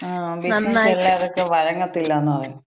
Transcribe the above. ങാ. ബിസിനസ് എല്ലാവർക്കും വഴങ്ങത്തില്ലാന്ന് പറയും.